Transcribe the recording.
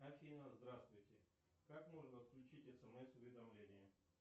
афина здравствуйте как можно отключить смс уведомления